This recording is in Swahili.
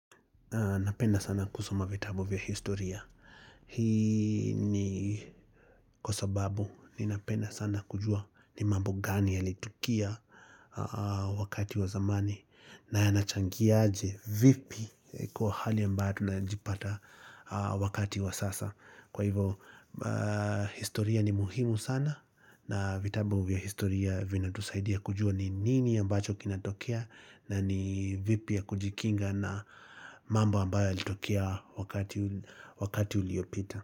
Napenda sana kusoma vitabu vya historia. Hii ni kwa sababu ninapenda sana kujua ni mambo gani yalitukia wakati wa zamani na yanachangiaje vipi kwa hali ambayo tunajipata wakati wa sasa. Kwa hivo historia ni muhimu sana na vitabu vya historia vinatusaidia kujua ni nini ambacho kinatokea na ni vipi ya kujikinga na mambo ambayo yalitokea wakati uliopita.